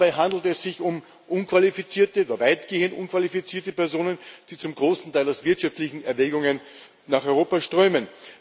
Dabei handelt es sich um unqualifizierte oder weitgehend unqualifizierte Personen, die zum großen Teil aus wirtschaftlichen Erwägungen nach Europa strömen.